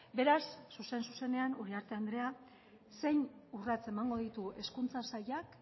beraz zuzen zuzenean uriarte andrea zein urrats emango ditu hezkuntza sailak